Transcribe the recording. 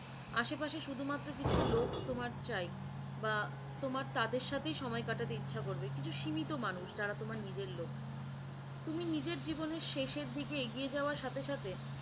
আশে পাশে শুধুমাত্র কিছু লোক তোমার চাই বা তোমার তাদের সাথেই সময় কাটাতে ইচ্ছা করবে, কিছু সীমিত মানুষ যারা তোমার নিজের লোক তুমি নিজের জীবনে শেষের দিকে এগিয়ে যাওয়ার সাথে সাথে